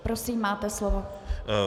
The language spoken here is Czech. Prosím, máte slovo.